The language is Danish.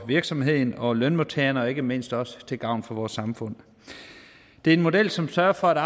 virksomhederne og lønmodtagerne og ikke mindst også til gavn for vores samfund det er en model som sørger for at